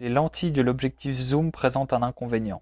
les lentilles de l'objectif zoom présentent un inconvénient